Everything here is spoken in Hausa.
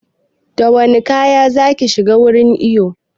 Da wane kaya zaka shiga wurin iyon?